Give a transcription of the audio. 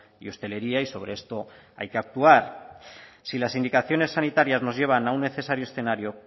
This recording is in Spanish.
y hostelería y sobre esto hay que actuar si las indicaciones sanitarias nos llevan a un necesario escenario